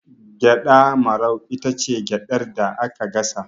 Gyaɗa marau itace gyaɗar da aka gasa